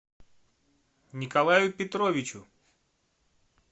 николаю петровичу